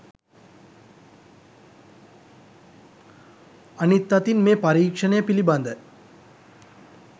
අනිත් අතින් මේ පරීක්ෂණය පිලිබඳ